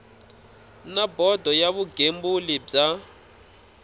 na bodo ya vugembuli bya